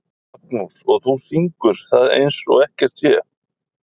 Magnús: Og þú syngur það eins og ekkert sé?